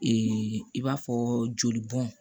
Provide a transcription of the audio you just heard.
i b'a fɔ joli bɔn